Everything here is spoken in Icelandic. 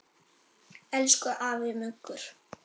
Elsku afi Muggur.